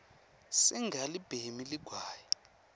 singalibhemi ligwayi